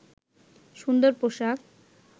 সুন্দর পোশাক